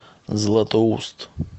златоуст